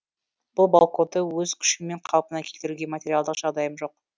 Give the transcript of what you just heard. бұл балконды өз күшіммен қалпына келтіруге материалдық жағдайым жоқ